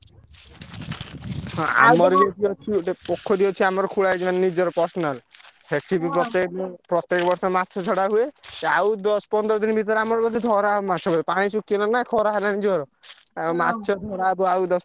ହଁ ଏଠି ଅଛି ଗୋଟେ ପୋଖରୀ ଅଛି ଆମର ଖୋଳା ହେଇଛି ନିଜର personal ସେଠି ବି ପକେଇଲେ ପ୍ରତ୍ୟକ ବର୍ଷ ମାଛ ଛଡା ହୁଏ। ଆଉ ଦଶ ପନ୍ଦର ଦିନ ଭିତରେ ଆମର ଯଦି ଧରା ହବ ମାଛ ପାଣି ଶୁଖି ଗଲାଣି ନା ଖରା ହେଲାଣି ଜୋର। ଆଉ ମାଛ ଧରା ହବ ଆଉ ଦଶ